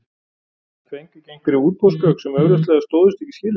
En fengu einhverjir útboðsgögn sem augljóslega stóðust ekki skilyrðin?